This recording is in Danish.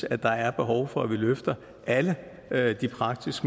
at der er behov for at vi løfter alle de praktisk